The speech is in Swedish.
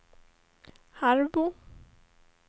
Harbo